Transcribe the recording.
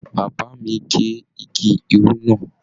Bàbá mí ge igi irú náà.